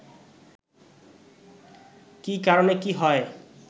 কি কারণে কি হয়